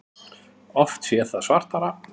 Hefur oft séð það svartara